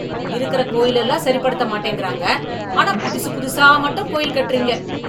இருக்கிற கோயில் எல்லாம் சரிப்படுத்த மாட்டேங்கிறாங்க ஆனா புதுசு புதுசா மட்டும் கோயில் கட்டுறீங்க